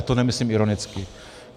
A to nemyslím ironicky.